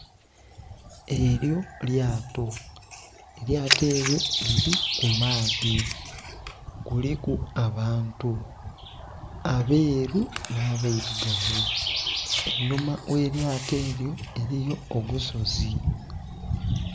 Elyo lyato, elyato elyo liri ku maadhi, kuliku abantu abeeru n'abairugavu. Einhuma gh'elyato elyo eliyo ogusozi